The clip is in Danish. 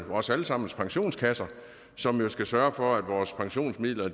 vores alle sammens pensionskasser som jo skal sørge for at vores pensionsmidler